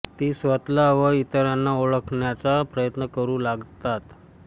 ती स्वतःला व इतरांना ओळखण्याचा प्रयत्न करू लागतात